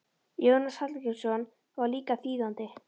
Jónas Hallgrímsson var líka þýðandi.